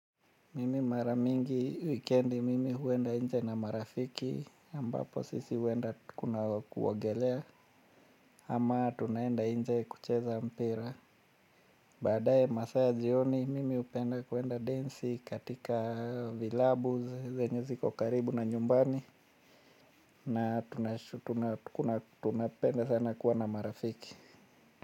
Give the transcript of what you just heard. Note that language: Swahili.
Mimi mara mingi wikendi mimi huenda nje na marafiki ambapo sisi huenda kuna kuogelea ama tunaenda nje kucheza mpira badaye masaa ya jioni mimi hupenda kuenda densi katika vilabu zenye ziko karibu na nyumbani na tunapenda sana kuwa na marafiki.